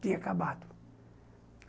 Tinha acabado.